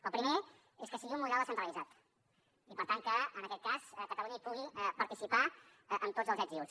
el primer és que sigui un model descentralitzat i per tant que en aquest cas catalunya hi pugui participar amb tots els ets i uts